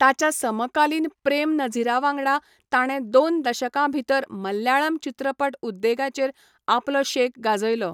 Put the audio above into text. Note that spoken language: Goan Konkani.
ताच्या समकालीन प्रेम नझीरावांगडा ताणें दोन दशकांभितर मल्याळम चित्रपट उद्देगाचेर आपलो शेक गाजयलो.